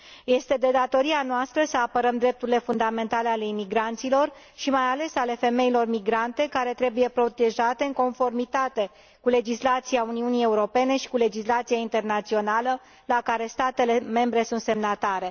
Este de datoria noastră să apărăm drepturile fundamentale ale imigranților și mai ales ale femeilor migrante, care trebuie protejate în conformitate cu legislația Uniunii Europene și cu legislația internațională, la care statele membre sunt semnatare.